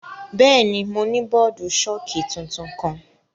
Bẹẹni, Mo ni bọọdu-ṣọki tuntun kan.